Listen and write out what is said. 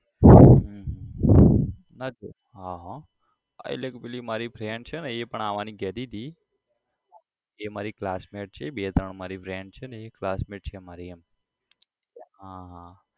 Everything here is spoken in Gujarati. હમ હ હ હા એટલે પેલી મારી friend છે ને એ પણ આવાની કહેતી હતી એ મારી classmate છે બે ત્રણ મારી friend છે ને એ classmate છે મારી એમ હા હા